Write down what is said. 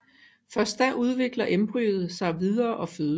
Først da udvikler embryoet sig videre og fødes